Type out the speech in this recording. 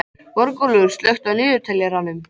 Borgúlfur, slökktu á niðurteljaranum.